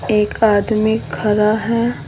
एक आदमी खड़ा है।